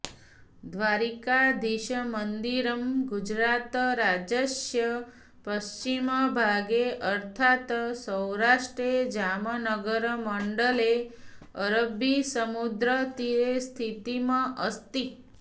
द्वारकाधीशमन्दिरं गुजरातराज्यस्य पश्चिमभागे अर्थात् सौराष्ट्रे जामनगरमण्डले अरब्बीसमुद्रतीरे स्थितम् अस्ति